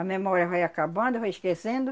A memória vai acabando, vai esquecendo.